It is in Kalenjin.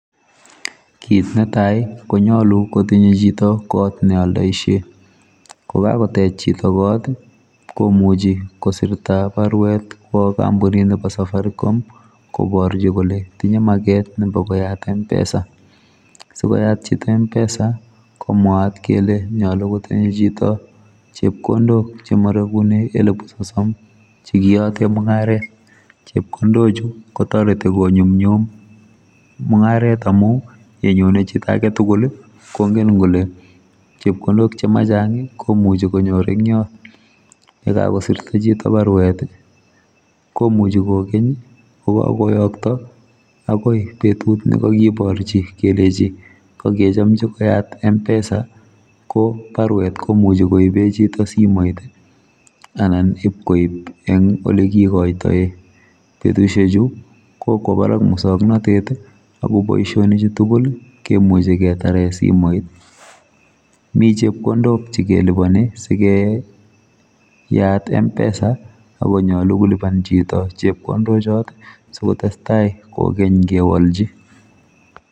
Kit netai konyalu kotinye chito kot neoldoishe kokakotech chito kot komuchi kosirta barwet kwa kampunitab safaricom koborchi kole tinye maget nebo koyat mpesa sokoyat chito mpesa komwat kele yache kotinye chito chepkondok chemaregune elbu sosom chekiyote mungaret chepkondochu kotoreti konyumnyum mungaret amu yenyone chito agetugul kongen kole chepkondok chema chang komuchi konyor eng yot yekakosirta chito barwet komuchi kokeny kokakoyokto akoi betut nekakiborchi kelechi kakechomji koyat mpesa ko barwet komuchi koibe chito simoit anan ipkoip eng ole kikoitoe betusiechu kokwobarak muswoknatet akoboisionichutugul kemuchi ketare simoit mi chepkondok chekeliboni sikeyat mpesa akonyolu keliban chito chepkondochot sikotestai kokeny kiwolchi.